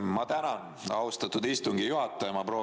Ma tänan, austatud istungi juhataja!